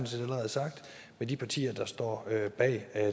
set allerede sagt med de partier der står bag